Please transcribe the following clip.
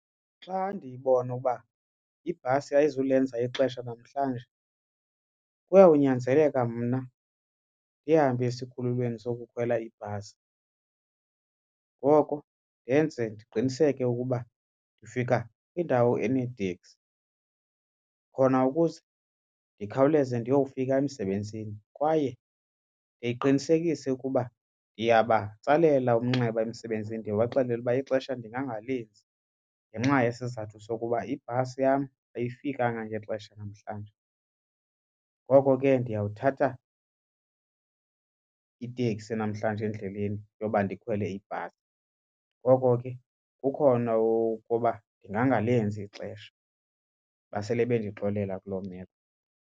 Xa ndibona ukuba ibhasi ayizulenza ixesha namhlanje kuyawunyanzeleka mna ndihambe esikhululweni sokukhwela ibhasi. Ngoko yenze ndiqiniseke ukuba ndifika indawo eneeteksi khona ukuze ndikhawuleze ndiyofika emsebenzini kwaye ndiqinisekise ukuba ndiyabatsalela umnxeba emsebenzini ndibaxelele ukuba ixesha ndingangalenzi ngenxa yesizathu sokuba ibhasi yam ayifikanga ngexesha namhlanje. Ngoko ke ndiyawuthatha iteksi namhlanje endleleni yoba ndikhwele ibhasi. Ngoko ke kukhona ukuba ndingangalenzi ixesha, basele bendixolela kuloo meko.